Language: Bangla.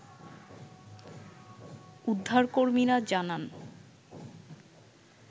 উদ্ধার কর্মীরা জানান